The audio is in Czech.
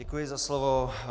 Děkuji za slovo.